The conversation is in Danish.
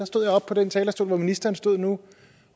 stod jeg oppe på den talerstol hvor ministeren står nu